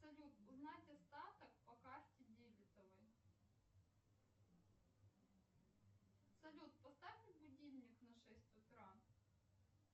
салют узнать остаток по карте дебетовой салют поставь будильник на шесть утра